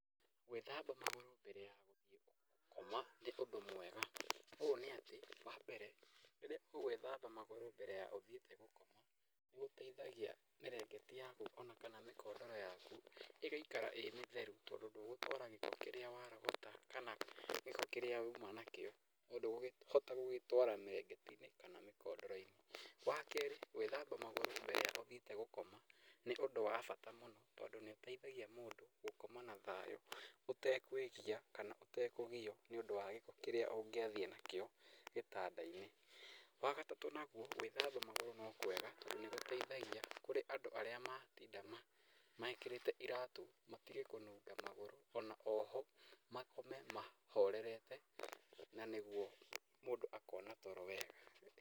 Gwĩthamba magũrũ mbere ya gũthiĩ gũkoma nĩ ũndũ mwega. Ũũ nĩatĩ wambere rĩrĩa ũgũĩthamba magũrũ mbere ya ũthiĩte gũkoma, nĩgũteithagia mĩrĩngĩti yaku, ona kana mĩkondoro yaku ĩgaikara ĩ mĩtheru tondũ ndũgũtwara gĩko kĩrĩa warogota kana gĩko kĩrĩa wauma nakĩo ndũgũkĩhota gũgĩtwara mĩrĩngĩti-inĩ kana mĩkondoro-inĩ. Wa keerĩ gwĩthamba magũrũ mbere ya ũthiĩte gũkoma nĩũndũ wa bata mũno tondũ nĩũteithagia mũndũ gũkoma na thayũ ũtekũĩgia kana ũtakũgio nĩ ũndũ wa gĩko kĩrĩa ũngĩathiĩ nakĩo gĩtanda-inĩ. Wagatatũ naguo , gwĩthamba magũrũ no kwega tondũ nĩgũteithagia kũrĩ andũ arĩa matinda mekĩrĩte iratũ matige kũnunga magũrũ ona oho makome mahorerete na nĩguo mũndũ akona toro wega.